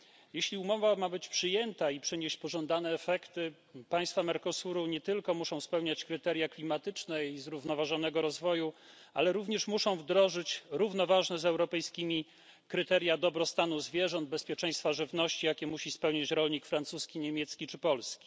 Jeśli umowa ma być przyjęta i przynieść pożądane efekty, państwa Mercosuru nie tylko muszą spełniać kryteria klimatyczne i zrównoważonego rozwoju, ale również muszą wdrożyć równoważne z europejskimi kryteria dobrostanu zwierząt, bezpieczeństwa żywności, jakie musi spełnić rolnik francuski, niemiecki czy polski.